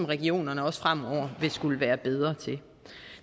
regionerne også fremover vil skulle være bedre til